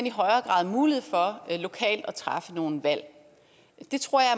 i højere grad mulighed for lokalt at træffe nogle valg det tror jeg